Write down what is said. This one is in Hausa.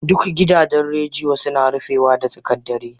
Duk gidajen rediyo suna rufe da tsakar dare